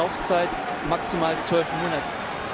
Laufzeit maximal 12 Monate.